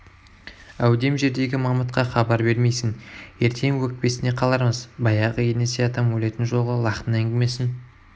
әудем жердегі мамытқа хабар бермейсің ертең өкпесіне қалармыз баяғы енесей атам өлетін жолғы лақтың әңгімесін